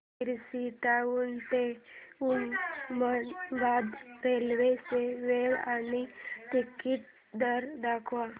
Barshi town ते Osmanabad railway ची वेळ आणि तिकीट दर दाखव